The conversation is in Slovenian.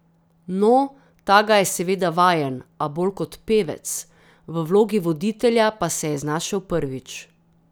No, ta ga je seveda vajen, a bolj kot pevec, v vlogi voditelja pa se je znašel prvič.